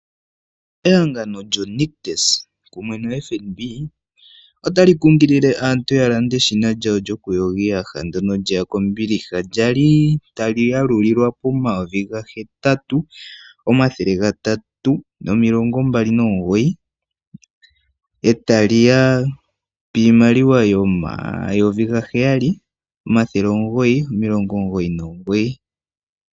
Ehangano lyoNictus kumwe nombaanga yotango yopashigwana otali kunkilile aantu ya lande eshina lyawo lyoku yoga iiyaha lyeya kombiliha. Lyali tali galulilwa pomayovi gahetatu omathele gatatu nomilongo mbali nomugoyi. Etali ya piimaliwa yomayovi gaheyali omathele omugoyi omilongo omugoyi nomugoyi.